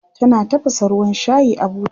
tana tafasa ruwan shayi a buta